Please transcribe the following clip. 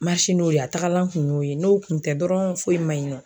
n'o ye, a tagalan kun y'o ye . N'o kun tɛ dɔrɔn foyi man ɲi nɔ.